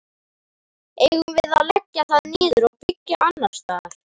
Eigum við að leggja það niður og byggja annars staðar?